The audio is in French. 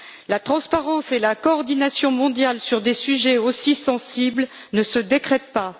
La transparence et la coordination mondiale sur des sujets aussi sensibles ne se décrètent pas.